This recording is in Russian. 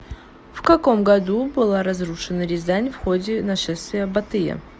в каком году была разрушена рязань в ходе нашествия батыя